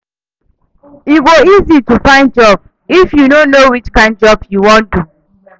E go easy to find job if yu know which kain job yu wan do